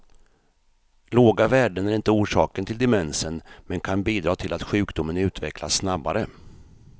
Låga värden är inte orsaken till demensen men kan bidra till att sjukdomen utvecklas snabbare.